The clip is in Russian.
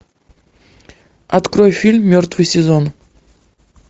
открой фильм мертвый сезон